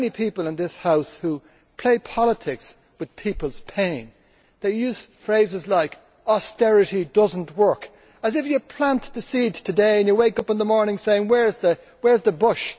There are many people in this House who play politics with people's pain. They use phrases like austerity does not work', as if you plant the seed today and you wake up in the morning saying where is the bush?'.